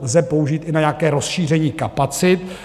lze použít i na nějaké rozšíření kapacit.